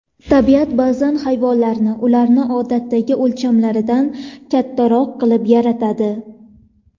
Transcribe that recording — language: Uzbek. Tabiat ba’zan hayvonlarni ularning odatdagi o‘lchamlaridan kattaroq qilib yaratadi.